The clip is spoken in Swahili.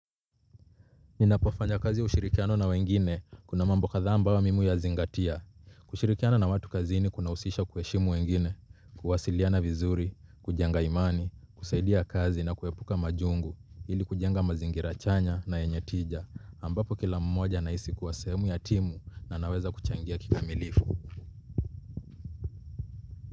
Ninapofanya kazi ya ushirikiano na wengine, kuna mambo kadhaa ambayo mimu huyazingatia. Kushirikiana na watu kazini kunahusisha kuheshimu wengine, kuwasaliana vizuri, kujenga imani, kusaidia kazi na kuepuka majungu ili kujenga mazingira chanya na yenye tija ambapo kila mmoja anahisi sehemu ya timu na anaweza kuchangia kikamilifu.